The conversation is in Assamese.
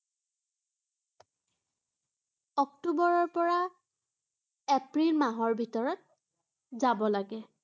অক্টোৱৰৰ পৰা, এপ্ৰিল মাহৰ ভিতৰত যাব লাগে।